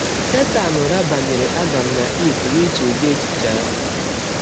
Setan rabanyere Adam na Eve n’iche ụdị echiche ahụ.